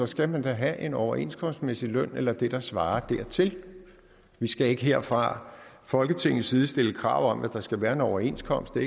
skal man da have en overenskomstmæssig løn eller det der svarer dertil vi skal ikke her fra folketingets side stille krav om at der skal være en overenskomst det